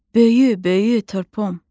"Böyü, böyü turpum!